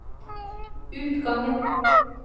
utgangen